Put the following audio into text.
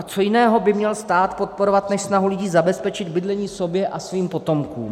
A co jiného by měl stát podporovat než snahu lidí zabezpečit bydlení sobě a svým potomkům?